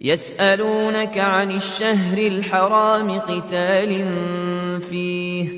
يَسْأَلُونَكَ عَنِ الشَّهْرِ الْحَرَامِ قِتَالٍ فِيهِ ۖ